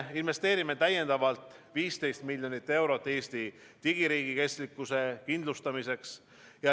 Investeerime täiendavalt 15 miljonit eurot Eesti digiriigi kestlikkuse kindlustamiseks.